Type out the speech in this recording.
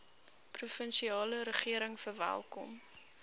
provinsiale regering verwelkom